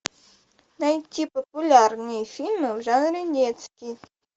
найти популярные фильмы в жанре детский